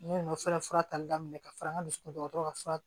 Ne nana fura tali daminɛ ka fara n ka dusukun ka fura